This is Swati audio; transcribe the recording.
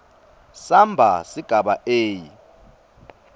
samba sigaba a